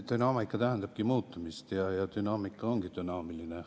Dünaamika tähendabki muutumist ja dünaamika ongi dünaamiline.